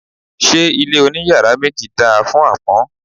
Ṣé ilé oní yàrá méjì dáa fún àpọ́n?